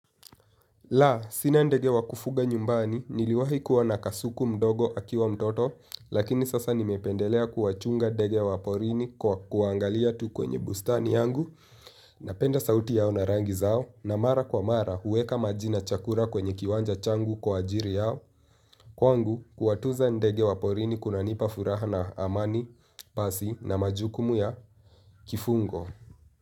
Laa, sina ndege wa kufuga nyumbani, niliwahi kuwa na kasuku mdogo akiwa mtoto, lakini sasa nimependelea kuwachunga ndege wa porini kwa kuwangalia tu kwenye bustani yangu, napenda sauti yao na rangi zao, na mara kwa mara huweka maji na chakula kwenye kiwanja changu kwa ajili yao, kwangu kuwatunza ndege wa porini kuna nipa furaha na amani, basi na majukumu ya kifungo.